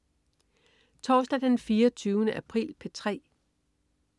Torsdag den 24. april - P3: